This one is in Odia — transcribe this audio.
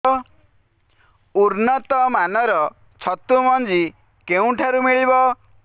ଉନ୍ନତ ମାନର ଛତୁ ମଞ୍ଜି କେଉଁ ଠାରୁ ମିଳିବ